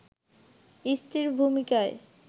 স্ত্রীর ভূমিকায়